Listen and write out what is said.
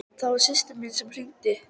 Það var systir mín sem hringdi.